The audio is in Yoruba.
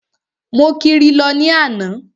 Mo kiri lọ ní àná.